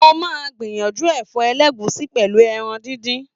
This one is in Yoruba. Mo máa gbìyànjú ẹ̀fọ́ ẹlẹ́gùsí, pẹ̀lú ẹran díndín.